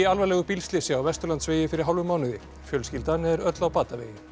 í alvarlegu bílslysi á Vesturlandsvegi fyrir hálfum mánuði fjölskyldan er öll á batavegi